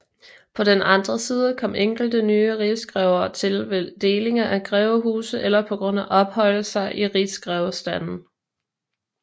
På den andre side kom enkelte nye rigsgrever til ved delinger af grevehuse eller på grund af ophøjelser til rigsgrevestanden